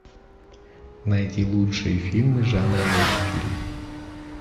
найти лучшие фильмы жанра мультфильм